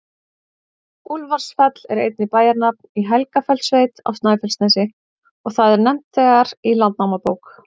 Úlfarsfell er einnig bæjarnafn í Helgafellssveit á Snæfellsnesi, og það er nefnt þegar í Landnámabók.